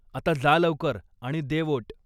आता जा लवकर आणि दे वोट.